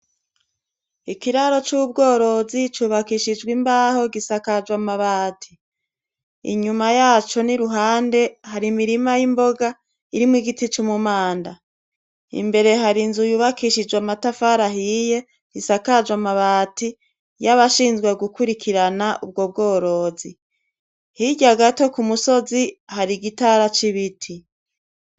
Ikiraro c’ubworozi cubakishijw’imbaho gisakajwe amabati, inyuma yaco n’iruhande har’imirima y’imboga irimw’igiti c’umunda. Imbere harinzu yubakishijwe amatafari ahiye, isakajwe amabati yabashinzwe gukwirikirana ubwo bworozi. Hirya gatoyi hari igitara c’ibiti.